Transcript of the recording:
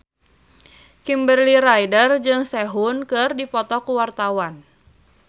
Kimberly Ryder jeung Sehun keur dipoto ku wartawan